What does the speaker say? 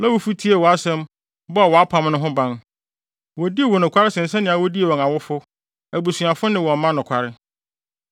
Lewifo tiee wʼasɛm bɔɔ wʼapam no ho ban. Wodii wo nokware sen sɛnea wodii wɔn awofo, abusuafo ne wɔn mma nokware.